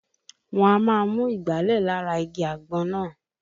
Wọ́n á máa mú ìgbálẹ̀ lára igi àgbọn náà